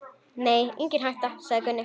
Nei, engin hætta, sagði Gunni.